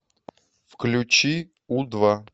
включи у два